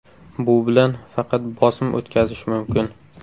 Bu bilan faqat bosim o‘tkazish mumkin.